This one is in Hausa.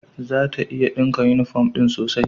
Zata iya dinka yunifom din sosai.